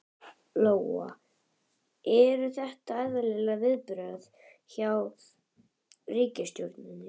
Lóa: Eru þetta eðlileg viðbrögð hjá ríkisstjórninni?